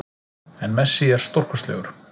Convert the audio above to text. En Messi er stórkostlegur